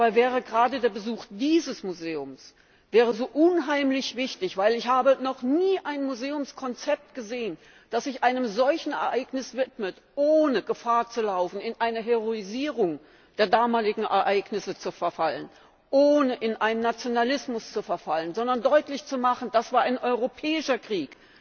Dabei wäre gerade der Besuch dieses Museums so unheimlich wichtig, weil ich noch nie ein Museumskonzept gesehen habe, das sich einem solchen Ereignis widmet, ohne Gefahr zu laufen, in eine Heroisierung der damaligen Ereignisse zu verfallen, ohne in einen Nationalismus zu verfallen, sondern das deutlich macht, das war ein europäischer Krieg.